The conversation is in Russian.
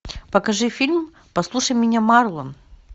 покажи фильм послушай меня марлон